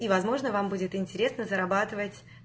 возможно вам будет интересно зарабатывать